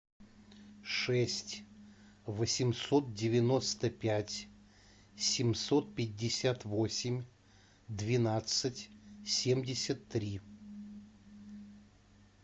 шесть восемьсот девяносто пять семьсот пятьдесят восемь двенадцать семьдесят три